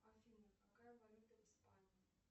афина какая валюта в испании